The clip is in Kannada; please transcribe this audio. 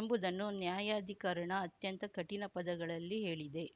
ಎಂಬುದನ್ನು ನ್ಯಾಯಾಧಿಕರಣ ಅತ್ಯಂತ ಕಠಿಣ ಪದಗಳಲ್ಲಿ ಹೇಳಿದೆ